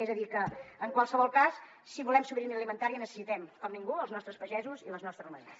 és a dir que en qualsevol cas si volem sobirania alimentària necessitem com ningú els nostres pagesos i les nostres ramaderes